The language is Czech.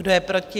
Kdo je proti?